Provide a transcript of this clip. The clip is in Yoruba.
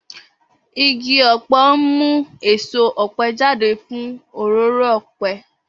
Igi ọ̀pẹ ń mú èso ọ̀pẹ jáde fún òróró ọ̀pẹ.